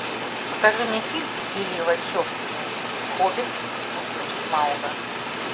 покажи мне фильм лилли вачовски хоббит пустошь смауга